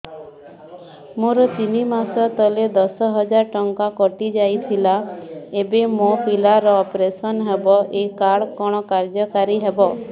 ମୋର ତିନି ମାସ ତଳେ ଦଶ ହଜାର ଟଙ୍କା କଟି ଯାଇଥିଲା ଏବେ ମୋ ପିଲା ର ଅପେରସନ ହବ ଏ କାର୍ଡ କଣ କାର୍ଯ୍ୟ କାରି ହବ